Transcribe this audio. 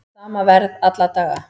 Sama verð alla daga